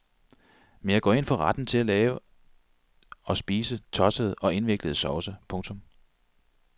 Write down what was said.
Men jeg går ind for retten til at lave og spise tossede og indviklede sovse. punktum